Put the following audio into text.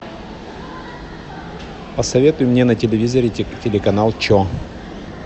посоветуй мне на телевизоре телеканал че